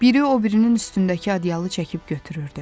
Biri o birinin üstündəki adyalı çəkib götürürdü.